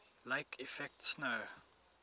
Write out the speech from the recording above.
lake effect snow